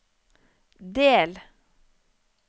del